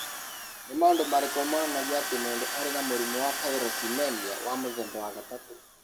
Nĩ maũndũ marĩkũ monanagia atĩ mũndũ arĩ na mũrimũ wa tyrosinemia wa mũthemba wa gatatũ?